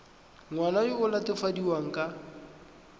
ngwana yo o latofadiwang ka